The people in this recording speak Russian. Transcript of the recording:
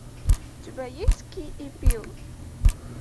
у тебя есть кей и пил